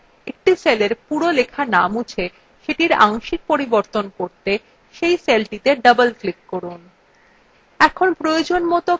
একটি সেলের পুরো বিষয়বস্তু in মুছে সেটির আংশিক পরিবর্তন করতে cell cellটিতে double click করুন